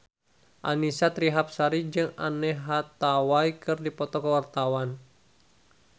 Annisa Trihapsari jeung Anne Hathaway keur dipoto ku wartawan